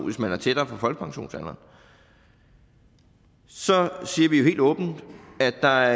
hvis man er tættere på folkepensionsalderen så siger vi helt åbent at der